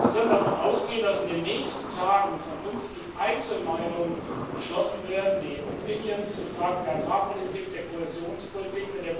Sie können davon ausgehen, dass in den nächsten Tagen von uns die Einzelmeinungen beschlossen werden, die opinions zu Fragen der Agrarpolitik, der Kohäsionspolitik.